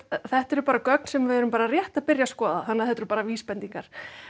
þetta eru bara gögn sem við erum bara rétt að byrja að skoða þannig að þetta eru bara vísbendingar